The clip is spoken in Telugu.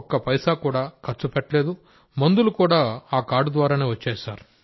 ఒక్క పైసా కూడా ఖర్చు పెట్టలేదు మందులు కూడా ఆ కార్డు ద్వారానే వచ్చాయి